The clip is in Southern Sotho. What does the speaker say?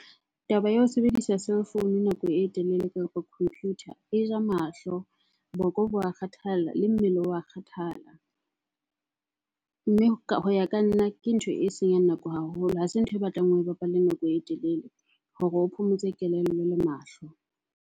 Taba ya ho sebedisa cellphone nako e telele kapo computer, e ja mahlo, boko bo a kgathala le mmele wa kgathala. Mme hoya ka nna, ke ntho e senyang nako haholo, ha se ntho e batlang o e bapale nako e telele hore o phomotse kelello le mahlo.